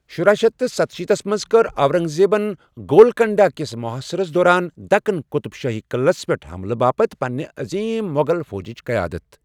شراہ شیتھ ستشیٖتس منٛز کٔر اورنگزیبن گولکنڈا كِس محاصرس دوران دکن قطب شاہی قٕلعس پیٹھ حملہِ باپتھ پنٛنہٕ عظیم مۄغل فوجچ قَیادت۔